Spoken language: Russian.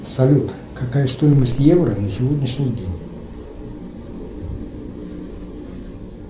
салют какая стоимость евро на сегодняшний день